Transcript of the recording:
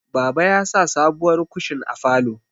Baba ya sa sabuwar kushin a falo